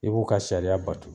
E b'u ka sariya batu.